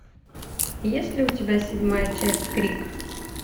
есть ли у тебя седьмая часть крик